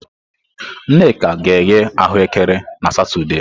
Nneka ga-eghe ahuekere na Satọde.